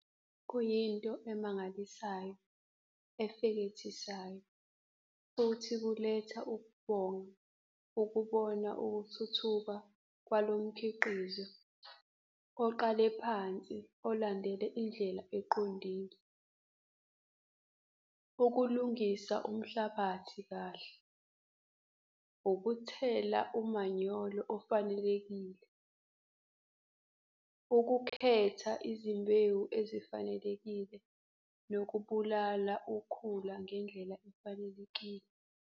Kuyinto emangalasiayo efekethisayo futhi kuletha ukubonga ukubona ukuthuthuthka kwalo mkhiqizi oqale phansi olandele indlela eqondile - ukulunfisa umhlabathi kahle, ukuthela umanyolo ofanelekile. ukukhetha izimbewu ezifanelekile nokubulala ukhula ngendlela efanelekile.